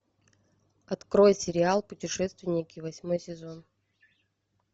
открой сериал путешественники восьмой сезон